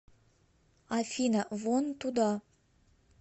афина вон туда